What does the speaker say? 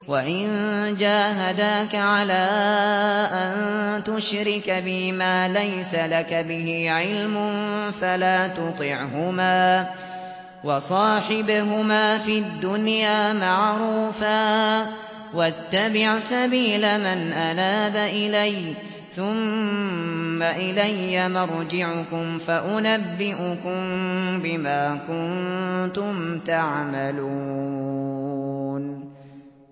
وَإِن جَاهَدَاكَ عَلَىٰ أَن تُشْرِكَ بِي مَا لَيْسَ لَكَ بِهِ عِلْمٌ فَلَا تُطِعْهُمَا ۖ وَصَاحِبْهُمَا فِي الدُّنْيَا مَعْرُوفًا ۖ وَاتَّبِعْ سَبِيلَ مَنْ أَنَابَ إِلَيَّ ۚ ثُمَّ إِلَيَّ مَرْجِعُكُمْ فَأُنَبِّئُكُم بِمَا كُنتُمْ تَعْمَلُونَ